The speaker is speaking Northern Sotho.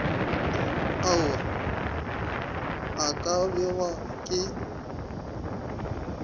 ao a ka bewago ke